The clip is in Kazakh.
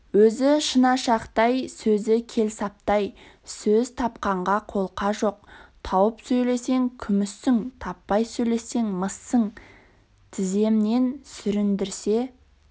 өзі шынашақтай сөзі келсаптай сөз тапқанға қолқа жоқ тауып сөйлесең күміссің таппай сөйлесең мыссың тіземнен сүріндірсе